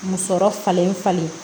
Musɔrɔ falen falen